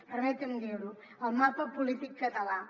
permetin me dir ho al mapa polític català